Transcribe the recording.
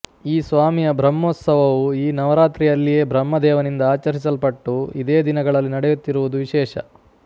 ಈ ಸ್ವಾಮಿಯ ಬ್ರಹ್ಮೋತ್ಸವವೂ ಈ ನವರಾತ್ರಿಯಲ್ಲಿಯೇ ಬ್ರಹ್ಮ ದೇವನಿಂದ ಆಚರಿಸಲ್ಪಟ್ಟು ಇದೇ ದಿನಗಳಲ್ಲಿ ನಡೆಯುತ್ತಿರುವುದು ವಿಶೇಷ